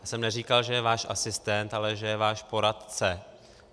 Já jsem neříkal, že je váš asistent, ale že je váš poradce.